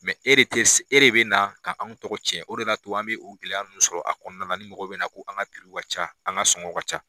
e de te se , e de be na ka anw tɔgɔ cɛn o de b'a to an be o gɛlɛya nunnu sɔrɔ a kɔnɔna ni mɔgɔw be na k'an ka ca an ka sɔngɔw ka ca.